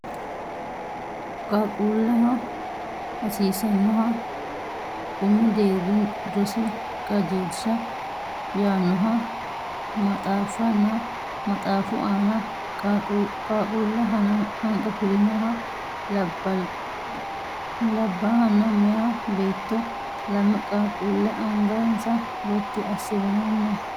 Qaaqquulleho hassisannoha umi deerri rosi qajeelsha yaannoha maxaaffanna maxaaffu aana qaaqquue hanqafirinoha labbaahanna meya beetto lame qaaqquulle angansa Gotti assinori no